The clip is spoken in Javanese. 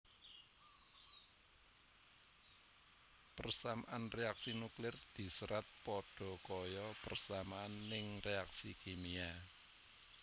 Persamaan reaksi nuklir diserat padha kaya persamaan ning reaksi kimia